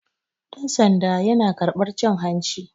Ɗansanda yana karɓar cin hanci